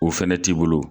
O fɛnɛ t'i bolo